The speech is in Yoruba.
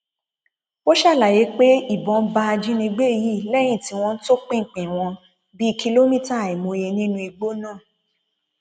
ó ṣàlàyé pé ìbọn bá ajínigbé yìí lẹyìn tí wọn topinpin wọn bíi kìlómítà àìmọye nínú igbó náà